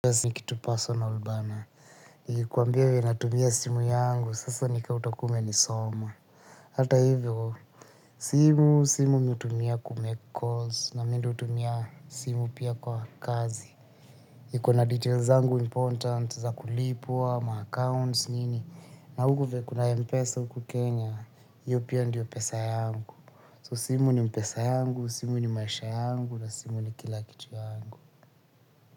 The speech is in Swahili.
Ni kitu personal bana, nikikuambia vile natumia simu yangu, sasa nika utakuwa umenisoma. Hata hivyo, simu, simu mi hutumia kumake calls, na mi ndio hutumia simu pia kwa kazi iko na details zangu important za kulipwa, ma accounts, nini, na huku vile kuna mpesa huku Kenya, iyo pia ndio pesa yangu So simu ni pesa yangu, simu ni maisha yangu, na simu ni kila kitu yangu.